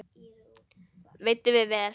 Veiddum við vel.